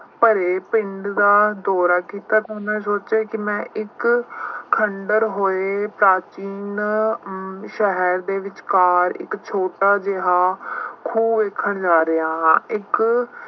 ਭਰੇ ਪਿੰਡ ਦਾ ਦੌਰਾ ਕੀਤਾ ਤਾਂ ਮੈਂ ਸੋਚਿਆ ਕਿ ਮੈਂ ਇੱਕ ਖੰਡਰ ਹੋਏ ਪ੍ਰਾਚੀਨ ਸ਼ਹਿਰ ਦੇ ਵਿਚਕਾਰ ਇੱਕ ਛੋਟਾ ਜਿਹਾ ਖੂਹ ਵੇਖਣ ਜਾ ਰਿਹਾ ਹਾਂ। ਇੱਕ